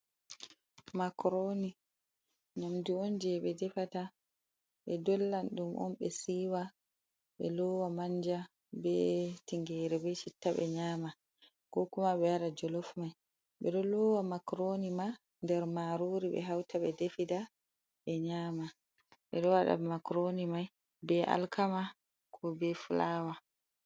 Macroni, nƴamdu on je ɓe defata, ɓe dollan ɗum on ɓe siiwa, ɓe loowa manja, be tingere, be chitta ɓe nƴama. Ko kuma ɓe waɗa jolof mai, ɓe ɗo loowa makroni ma nder maarori ɓe hauta ɓe defida ɓe nƴama. Ɓe ɗo waɗa makroni mai be alkama ko be fulawa.